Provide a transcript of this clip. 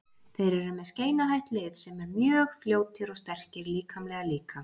Þeir eru með skeinuhætt lið sem eru mjög fljótir og sterkir líkamlega líka.